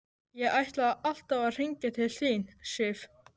Ég ætlaði alltaf að hringja til þín, Sif.